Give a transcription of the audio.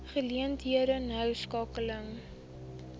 geleenthede noue skakeling